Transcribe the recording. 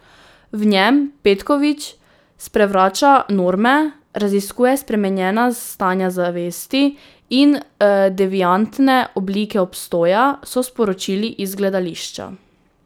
V njem Petković sprevrača norme, raziskuje spremenjena stanja zavesti in deviantne oblike obstoja, so sporočili iz gledališča.